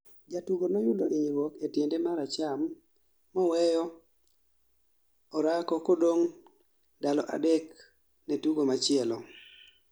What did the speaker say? Jatugo noyudo inyruok e tiende mar acham moweyo orako kodong' ndalo adek ne tugo machielo